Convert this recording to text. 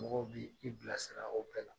Mɔgɔw bi i bila sira o bɛɛ la.